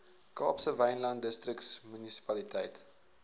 kaapse wynland distriksmunisipaliteit